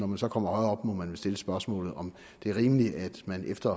man så kommer højere op må man vel stille spørgsmålet om det er rimeligt at man efter